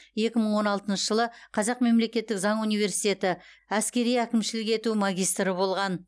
екі мың он алтыншы жылы қазақ мемлекеттік заң университеті іскери әкімшілік ету магистрі болған